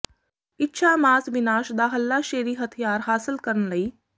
ਇੱਛਾ ਮਾਸ ਵਿਨਾਸ਼ ਦਾ ਹੱਲਾਸ਼ੇਰੀ ਹਥਿਆਰ ਹਾਸਲ ਕਰਨ ਲਈ